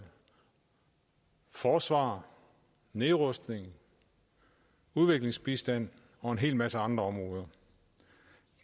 forsvar nedrustning udviklingsbistand og en hel masse andre områder